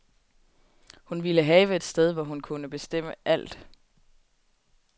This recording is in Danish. Hun ville have et sted, hvor hun kunne bestemme alt.